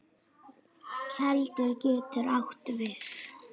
Keldur getur átt við